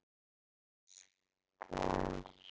Kæri Óskar.